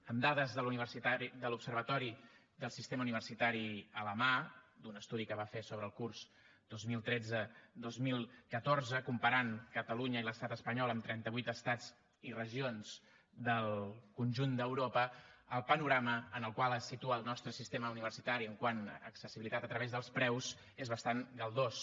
amb dades de l’observatori del sistema universitari a la mà d’un estudi que va fer sobre el curs dos mil tretze dos mil catorze comparant catalunya i l’estat espanyol amb trenta vuit estats i regions del conjunt d’europa el panorama en el qual es situa el nostre sistema universitari quant a accessibilitat a través dels preus és bastant galdós